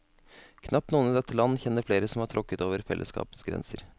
Knapt noen i dette land kjenner flere som har tråkket over fellesskapets grenser.